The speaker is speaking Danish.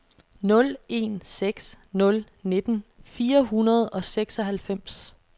nul en seks nul nitten fire hundrede og seksoghalvfems